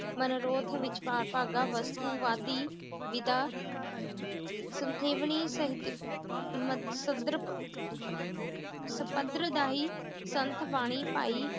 ਮਨੋਰੋਥ ਵਿਚਕਾਰ ਭਾਗਾਂ ਵਸਤੂ ਵਾਦੀ ਵਿਦਾ ਸੰਥੀਵਨੀ ਸੰਪਰਦਾਈ ਸੰਤਬਾਣੀ ਭਾਈ